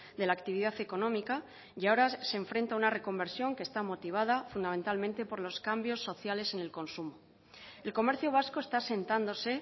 de la actividad económica y ahora se enfrenta a una reconversión que está motivada fundamentalmente por los cambios sociales en el consumo el comercio vasco está asentándose